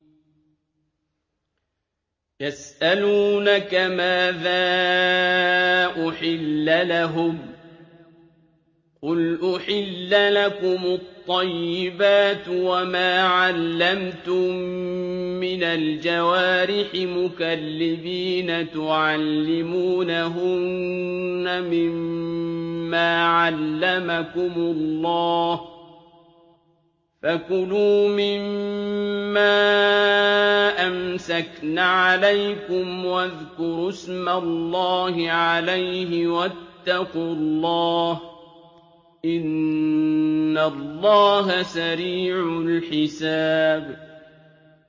يَسْأَلُونَكَ مَاذَا أُحِلَّ لَهُمْ ۖ قُلْ أُحِلَّ لَكُمُ الطَّيِّبَاتُ ۙ وَمَا عَلَّمْتُم مِّنَ الْجَوَارِحِ مُكَلِّبِينَ تُعَلِّمُونَهُنَّ مِمَّا عَلَّمَكُمُ اللَّهُ ۖ فَكُلُوا مِمَّا أَمْسَكْنَ عَلَيْكُمْ وَاذْكُرُوا اسْمَ اللَّهِ عَلَيْهِ ۖ وَاتَّقُوا اللَّهَ ۚ إِنَّ اللَّهَ سَرِيعُ الْحِسَابِ